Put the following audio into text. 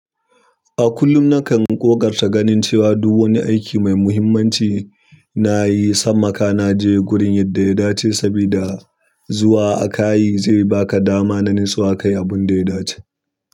A kullum nakan ƙoƙarta ganin cewa du wani aiki mai muhimmanci na yi, sammaka na je gurin yadda ya dace sabida zuwa aka yi zai baka dama na nutsuwa kayi abun da ya dace.